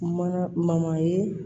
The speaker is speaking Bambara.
Mana ma ye